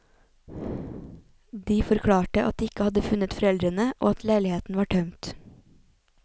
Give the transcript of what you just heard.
De forklarte at de ikke hadde funnet foreldrene og at leiligheten var tømt.